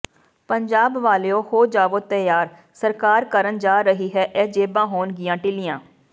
ਪੰਜਾਬ ਵਾਲਿਓ ਹੋ ਜਾਵੋ ਤਿਆਰ ਸਰਕਾਰ ਕਰਨ ਜਾ ਰਹੀ ਇਹ ਜੇਬਾਂ ਹੋਣਗੀਆਂ ਢਿਲੀਆਂ